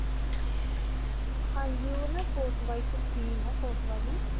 ਹਾਂਜੀ. ਓਹ ਨਾ wise scheme ਹੈ.